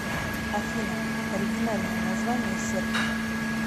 афина оригинальное название сербки